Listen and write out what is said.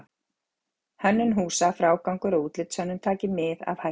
Hönnun húsa, frágangur og útlitshönnun taki mið af hættu.